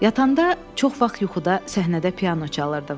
Yatanda çox vaxt yuxuda səhnədə piano çalırdım.